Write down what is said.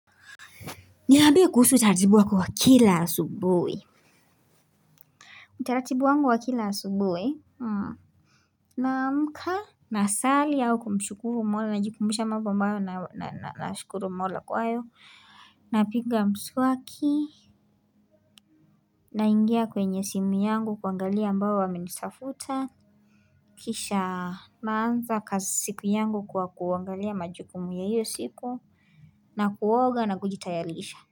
Niambie kuhusu utaratibu wako wa kila asubuhi. Utaratibu wangu wa kila asubuhi, Naamka, Nasali au kumshukuru mola najikumbusha mambo ambayo nashukuru mola kwayo. Napiga mswaki, naingia kwenye simu yangu kuangalia ambao wamenitafuta. Kisha naanza siku yangu kwa kuangalia majukumu ya hiyo siku na kuoga na kujitayarisha.